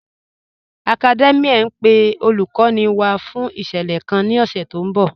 Academia n pe olúkòní wá fún ìṣẹlẹ̀ kàn ni ọ̀ṣẹ̀ tí n bọ̀